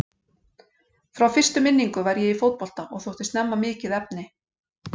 Frá fyrstu minningu var ég í fótbolta og þótti snemma mikið efni.